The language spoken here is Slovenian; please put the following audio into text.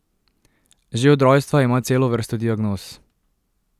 Že od rojstva ima celo vrsto diagnoz.